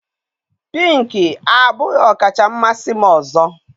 Pink abụghị ọkacha mmasị m ọzọ